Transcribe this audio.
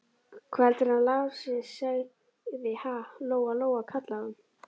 Hvað heldurðu að hann Lási segði, ha, Lóa Lóa, kallaði hún.